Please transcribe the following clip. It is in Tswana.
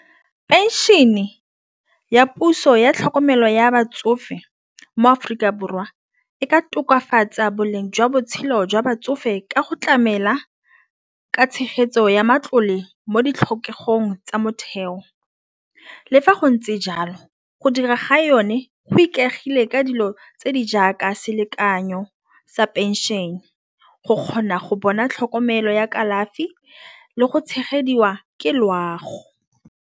Phenšene ya puso ya tlhokomelo ya batsofe mo-Aforika Borwa e ka tokafatsa boleng jwa botshelo jwa batsofe ka go tlamela ka tshegetso ya matlole mo ditlhokegong tsa motheo. Le fa go ntse jalo go dira ga yone go ikaegile ka dilo tse di jaaka selekanyo sa phenšene go kgona go bona tlhokomelo ya kalafi le go tshegediwa ke loago.